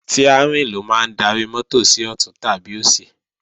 Stiárìn ló máa ń darí mọ́tò sí ọ̀tún tàbí òsì